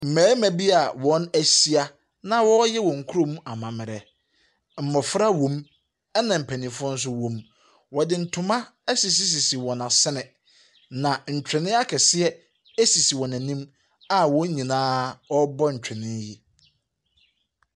Mmarima bi a wɔahyia na wɔreyɛ wɔn kurom amammerɛ. Mmɔfra wɔ mu, ɛna mpanimfoɔ nso wɔ mu. Wɔde ntoma asisisisi wɔ asene, na ntwene akɛseɛ sisi wɔn anim a wɔn nyinaa rebɔ ntwene yi.